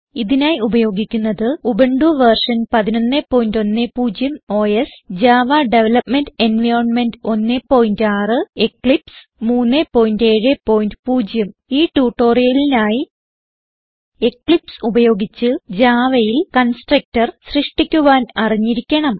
ഇതിനായി ഉപയോഗിക്കുന്നത് Ubuntu version 1110 OS Java development environment 16 Eclipse 370 ഈ ട്യൂട്ടോറിയലിനായി എക്ലിപ്സ് ഉപയോഗിച്ച് Javaയിൽ കൺസ്ട്രക്ടർ സൃഷ്ടിക്കുവാൻ അറിഞ്ഞിരിക്കണം